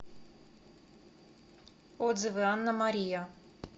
отзывы анна мария